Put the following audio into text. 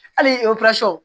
Hali